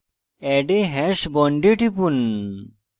add a hash bond a টিপুন